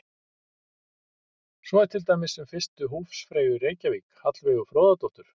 Svo er til dæmis um fyrstu húsfreyju í Reykjavík, Hallveigu Fróðadóttur.